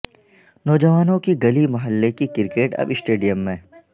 نوجوانوں کی گلی محلے کی کرکٹ اب سٹیڈیم میں